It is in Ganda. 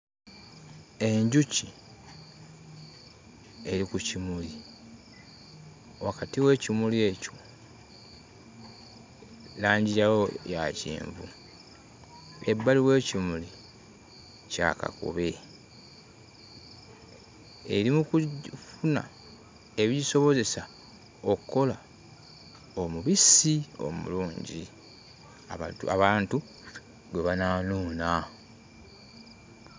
Enjuki eri ku kimuli wakati w'ekimuli ekyo langi yaawo ya kyenvu. Ebbali w'ekimuli kya kakobe eri mu kujju funa ebigisobozesa okkola omubisi omulungi abantu abantu gwe banaanuuna.